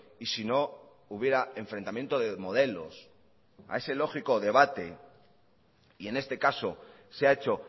y si no hubiera enfrentamiento de modelos a ese lógico debate y en este caso se ha hecho